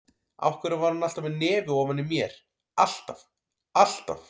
Af hverju var hún alltaf með nefið ofan í mér, alltaf, alltaf.